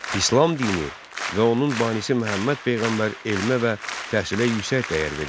İslam dini və onun banisi Məhəmməd peyğəmbər elmə və təhsilə yüksək dəyər verirdi.